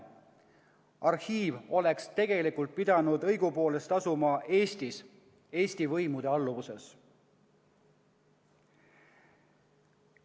Arhiiv peaks tegelikult asuma Eestis, Eesti võimude alluvuses.